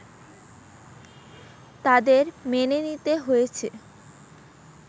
তাঁদের মেনে নিতে হয়েছে